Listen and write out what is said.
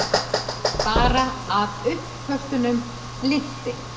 Bara að uppköstunum linnti.